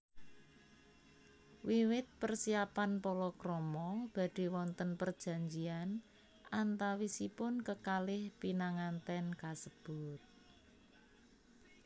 Wiwit persiapan palakrama badhe wonten perjanjian antawisipun kekalih pinanganten kasebut